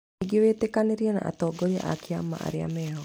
Ningĩ wĩtĩkanĩrie na atongoria a kĩama arĩa meho